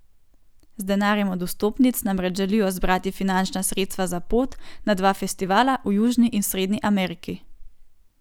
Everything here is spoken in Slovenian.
Z denarjem od vstopnic namreč želijo zbrati finančna sredstva za pot na dva festivala v Južni in Srednji Ameriki.